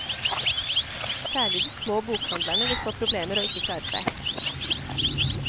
Særlig de små bokhandlerne vil få problemer og ikke klare seg.